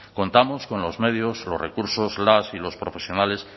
contamos con los medios los recursos las y los profesionales